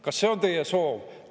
Kas see on teie soov?